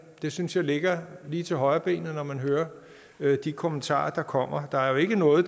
det synes jeg ligger lige til højrebenet når man hører de kommentarer der kommer der er jo ikke nogen af